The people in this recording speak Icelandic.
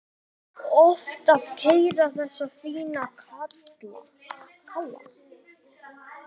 Hann er oft að keyra þessa fínu kalla.